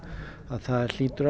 það hlýtur